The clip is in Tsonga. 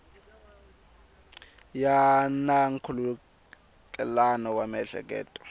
ya na nkhulukelano wa miehleketo